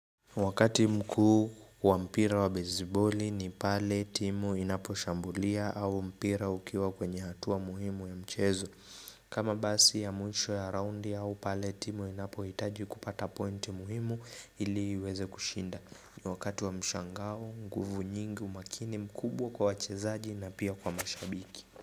Wakati mkuu wa mpira wa beziboli ni pale timu inaposhambulia au mpira ukiwa kwenye hatua muhimu ya mchezo kama basi ya mwisho ya roundi au pale timu inapo hitaji kupata point muhimu ili iweze kushinda Wakati wa mshangao nguvu nyingi umakini mkubwa kwa wachezaji na pia kwa mashabiki.